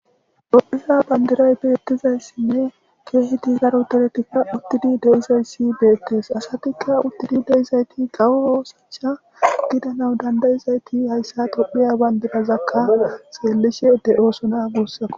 Tophiya banidiray betidiyassinne kehidi darroti utidi deyizayis betesi assati utidi deyizayiti kawo osso othiya gidanawu dandayizayit hayissa tophiya banidira xelishe deyosona gussako